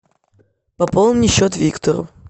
пополни счет виктору